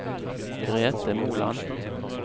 Grete Moland